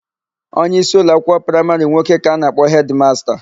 Onyeisi ụloakwụkwọ praịmarị nwoke ka a na-akpọ hedịmasta.